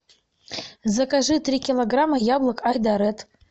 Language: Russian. закажи три килограмма яблок айдаред